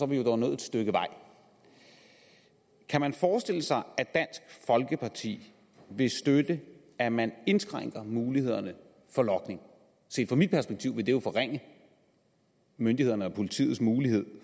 vi jo dog nået et stykke vej kan man forestille sig at dansk folkeparti vil støtte at man indskrænker mulighederne for logning set fra mit perspektiv vil det jo forringe myndighedernes og politiets mulighed